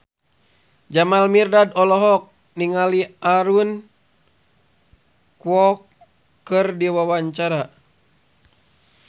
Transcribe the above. Jamal Mirdad olohok ningali Aaron Kwok keur diwawancara